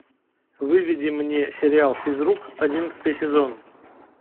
выведи мне сериал физрук одиннадцатый сезон